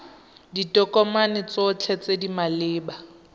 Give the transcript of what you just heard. ditokomane tsotlhe tse di maleba